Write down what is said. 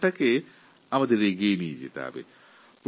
ভবিষ্যতেও এই ধরনের প্রচেষ্টা জারি রাখতে হবে